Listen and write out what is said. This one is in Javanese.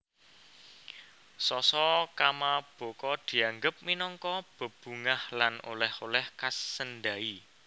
Sasa kamabako dianggo minangka bebungah lan oleh oleh khas Sendai